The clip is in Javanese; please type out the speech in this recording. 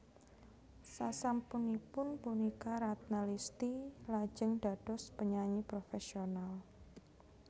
Sasampunipun punika Ratna Listy lajeng dados penyanyi profesional